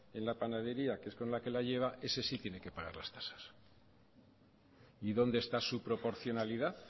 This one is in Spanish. en la panadería que es con la que lo lleva ese sí tiene que pagar las tasas y dónde está su proporcionalidad